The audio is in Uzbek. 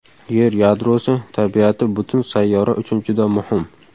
Yer yadrosi tabiati butun sayyora uchun juda muhim.